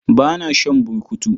Ba na shan burkutu.